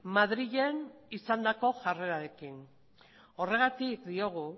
madrilen izandako jarrerarekin horregatik diogu